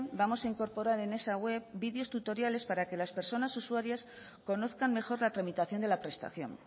vamos a incorporar en esa web videos tutoriales para que las personas usuarias conozcan mejor la tramitación de la prestación